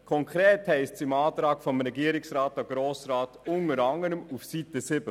Konkret heisst es im Antrag des Regierungsrats an den Grossen Rat unter anderem auf Seite 7: